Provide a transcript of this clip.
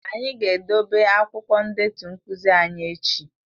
Anyị ga-edobe akwụkwọ ndetu nkuzi anyị echi